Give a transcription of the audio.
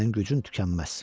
Sənin gücün tükənməz.